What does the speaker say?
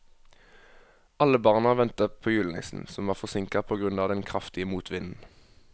Alle barna ventet på julenissen, som var forsinket på grunn av den kraftige motvinden.